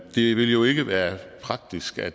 det vil jo ikke være praktisk at